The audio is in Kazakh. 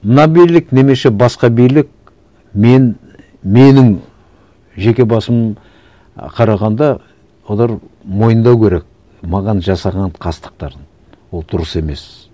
мына билік немесе басқа билік мен менің жеке басым і қарағанда олар мойындау керек маған жасаған қастықтарын ол дұрыс емес